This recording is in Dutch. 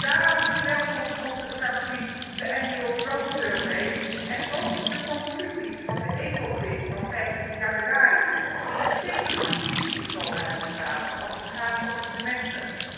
Daarom verwelkomt onze fractie de annual growth survey en ook de conclusies van de Ecofin van 15 januari 2011, die een stevig ambitieniveau uitstralen, als het gaat om het semester.